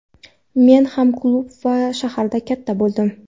Men ham klub, ham shaharda katta bo‘ldim.